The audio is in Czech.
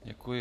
Děkuji.